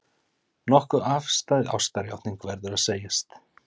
Nokkuð afstæð ástarjátning, verður að segjast.